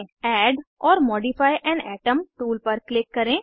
add or modify an atom tool पर click करें